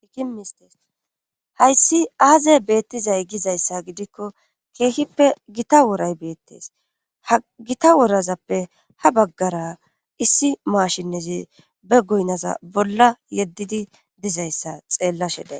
IssI mistes hayssi aazey beettizay gizayssa gidikko keehippe gita woray beettees ha gita worazappe ha baggara issi maashinnezi be goynaza bolla yeddidi dizayssa xeellashe day.